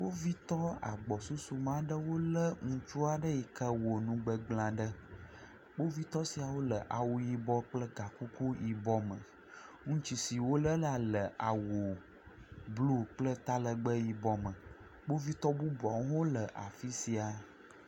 Kpovitɔ agbɔsusu me aɖewo le ŋutsu aɖe yi ke wɔ nugbegbl aɖe. Kpovitɔ siawo le awu yibɔ kple ga kuku yibɔ me. Ŋutsu si wole la le awu blu kple talegbe yibɔ me. Kpovitɔ bubuawo hã le afi ya.